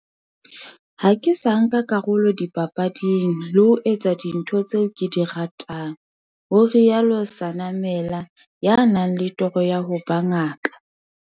"Ha ke sa nka karolo dipapading, le ho etsa dintho tseo ke di ratang," ho rialo Senamela, ya nang le toro ya ho ba ngaka.